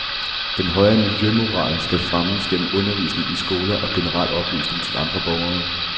Den høje miljømoral skal fremmes gennem undervisning i skoler og generel oplysning til andre borgere.